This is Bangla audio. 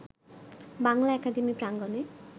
বাংলা একাডেমি প্রাঙ্গণে